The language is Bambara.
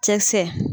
Cɛkisɛ